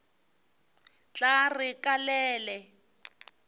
tla re ka le le